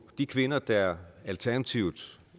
de kvinder der alternativt